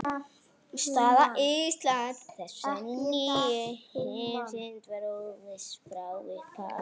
Staða Íslands í þessari nýju heimsmynd var óviss frá upphafi.